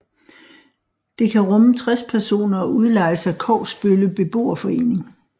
Det kan rumme 60 personer og udlejes af Kogsbølle Beboerforening